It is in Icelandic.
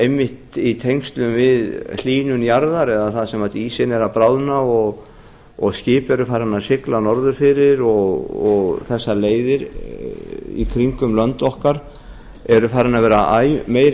einmitt í tengslum við hlýnun jarðar eða þar sem ísinn er að bráðna og skip eru farin að sigla norður fyrir og þessar leiðir í kringum lönd okkar eru farnar að vera æ meiri